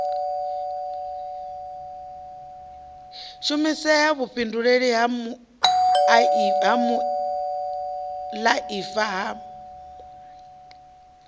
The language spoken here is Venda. shumisea vhuifhinduleli ha muaifa ha